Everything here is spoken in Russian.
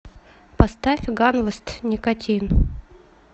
поставь ганвест никотин